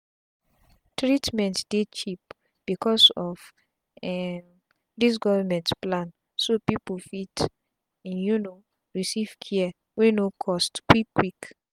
treatment dey cheap becos of um dis govment plan so pipu fit um receive care wey no cost quick quick